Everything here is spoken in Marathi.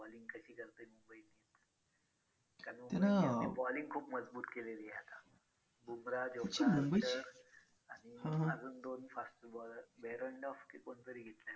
त्यामुळे त्यांची bowling खूप मजबूत केलेली आहे आता बुमराह jofra archer आणि अजून दोन fast bowler behrendorff की कोणतरी येईल.